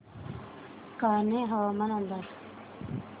कान्हे हवामान अंदाज